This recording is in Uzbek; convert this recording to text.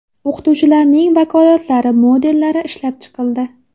O‘qituvchilarning vakolatlari modellari ishlab chiqildi.